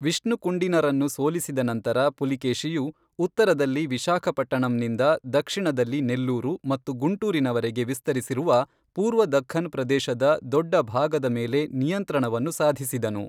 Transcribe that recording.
ವಿಷ್ಣುಕುಂಡಿನರನ್ನು ಸೋಲಿಸಿದ ನಂತರ ಪುಲಕೇಶಿಯು ಉತ್ತರದಲ್ಲಿ ವಿಶಾಖಪಟ್ಟಣಂನಿಂದ ದಕ್ಷಿಣದಲ್ಲಿ ನೆಲ್ಲೂರು ಮತ್ತು ಗುಂಟೂರಿನವರೆಗೆ ವಿಸ್ತರಿಸಿರುವ ಪೂರ್ವ ದಖ್ಖನ್ ಪ್ರದೇಶದ ದೊಡ್ಡ ಭಾಗದ ಮೇಲೆ ನಿಯಂತ್ರಣವನ್ನು ಸಾಧಿಸಿದನು.